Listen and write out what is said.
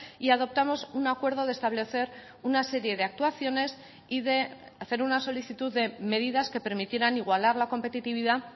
y adoptamos un acuerdo de establecer una serie de actuaciones y de hacer una solicitud de medidas que permitieran igualar la competitividad